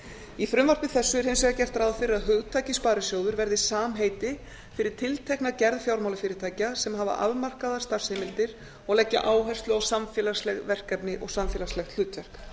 í frumvarpi þessu er hins vegar gert ráð fyrir að hugtakið sparisjóður verði samheiti fyrir tiltekna gerð fjármálafyrirtækja sem hafa afmarkaðar starfsheimildir og leggja áherslu á samfélagsleg verkefni og samfélagslegt hlutverk